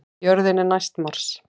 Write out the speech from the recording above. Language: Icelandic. Jörðin er næst Mars!